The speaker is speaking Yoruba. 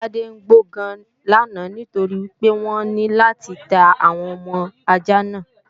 Ajá Tádé ń gbó gan làná nítorí pé wọ́n ní láti ta àwọn ọmọ ajá náà